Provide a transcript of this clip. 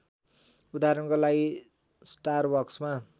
उदहारणको लागि स्टारबक्समा